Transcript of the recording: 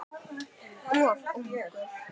Of ungur.